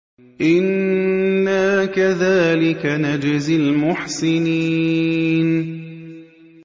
إِنَّا كَذَٰلِكَ نَجْزِي الْمُحْسِنِينَ